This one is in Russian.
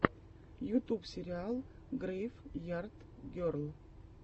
ютуб сериал грейв ярд герл